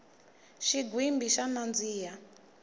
xigwimbhi xa nandziha